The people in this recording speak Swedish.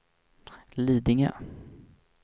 Lidingö